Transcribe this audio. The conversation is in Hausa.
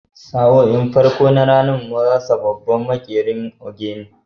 Sa'o'in farko na ranar mun rasa babban maƙerin ogene